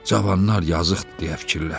Cavanlar yazıqdır deyə fikirləşdi.